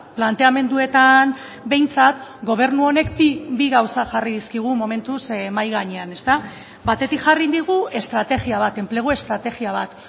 planteamenduetan behintzat gobernu honek bi gauza jarri dizkigu momentuz mahai gainean batetik jarri digu estrategia bat enplegu estrategia bat